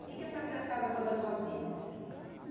O que essa criançada toda fazia?